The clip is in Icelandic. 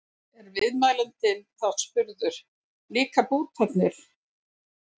Er viðmælandinn þá spurður: Líka bútarnir?